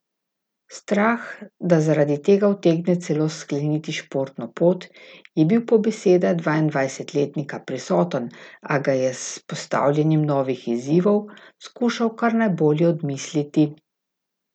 Strah, da zaradi tega utegne celo skleniti športno pot, je bil po besedah dvaindvajsetletnika prisoten, a ga je s postavljanjem novih izzivov skušal kar najbolje odmisliti.